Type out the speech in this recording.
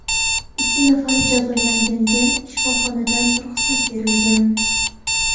Ikki nafar jabrlanganga shifoxonadan ruxsat berilgan.